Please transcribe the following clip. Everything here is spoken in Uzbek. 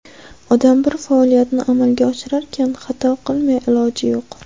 Odam bir faoliyatni amalga oshirarkan, xato qilmay iloji yo‘q.